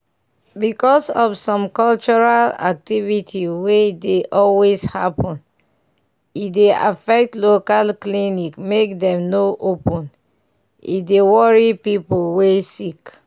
because of some cultural activity wey dey always happen e dey affect local clinic make dem no open e dey worry pipu wey sick.